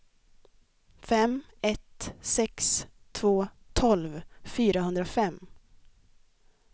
fem ett sex två tolv fyrahundrafem